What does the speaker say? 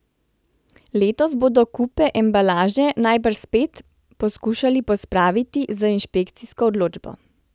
Letos bodo kupe embalaže najbrž spet poskušali pospraviti z inšpekcijsko odločbo.